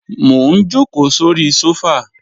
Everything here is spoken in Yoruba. Mò ń jòkó sóri sófà